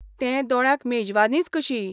तें दोळ्यांक मेजवानीच कशी.